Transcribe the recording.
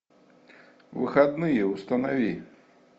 выходные установи